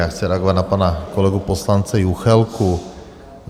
Já chci reagovat na pana kolegu poslance Juchelku.